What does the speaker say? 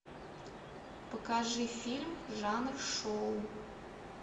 покажи фильм жанр шоу